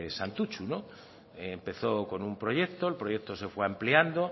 santutxu empezó con un proyecto el proyecto se fue ampliando